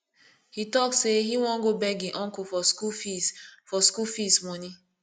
he talk say he wan go beg him uncle for school fees for school fees money